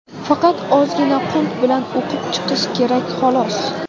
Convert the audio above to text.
Faqat ozgina qunt bilan o‘qib chiqish kerak xolos.